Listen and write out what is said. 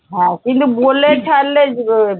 হ্যাঁ কিন্তু বলে ফেলে